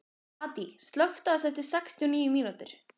Addý, slökktu á þessu eftir sextíu og níu mínútur.